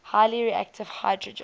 highly reactive hydrogen